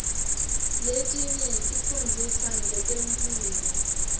letinye tifundzisa ngetemphilo